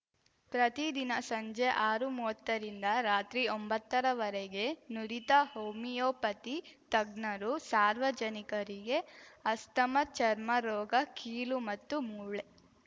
ಪ್ರತಿದಿನ ಸಂಜೆ ಆರುಮುವ್ವತ್ತರಿಂದ ರಾತ್ರಿ ಒಂಬತ್ತರವರೆಗೆ ನುರಿತ ಹೋಮಿಯೋಪತಿ ತಜ್ಞರು ಸಾರ್ವಜನಿಕರಿಗೆ ಅಸ್ತಮ ಚರ್ಮರೋಗ ಕೀಲು ಮತ್ತು ಮೂಳೆ